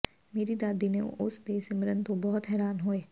ਮੇਰੀ ਦਾਦੀ ਨੇ ਉਸ ਦੇ ਸਿਮਰਨ ਤੋਂ ਬਹੁਤ ਹੈਰਾਨ ਹੋਏ